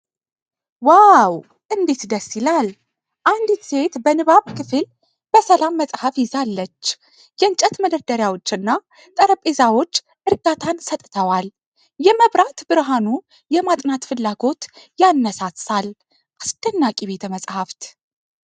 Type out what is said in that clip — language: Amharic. ዋው እንዴት ደስ ይላል! አንዲት ሴት በንባብ ክፍል በሰላም መጽሐፍ ይዛለች። የእንጨት መደርደሪያዎችና ጠረጴዛዎች እርጋታን ሰጥተዋል። የመብራት ብርሃኑ የማጥናት ፍላጎት ያነሳሳል። አስደናቂ ቤተ-መጽሐፍት።